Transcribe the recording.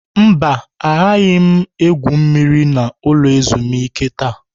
Mba, agaghị m egwu mmiri na ulo ezimuike taa.